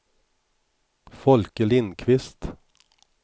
Folke Lindkvist